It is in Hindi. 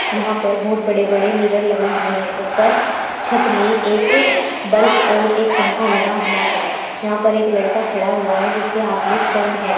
यहां पर बोहोत बड़े बड़े मिरर लगे हुए हैं। ऊपर छत में एक बल्प और एक पंखा लगा हुआ है। यहां पर एक लड़का खड़ा हुआ है जिसके हाथ में फोन है।